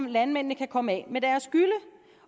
at landmændene kan komme af med deres gylle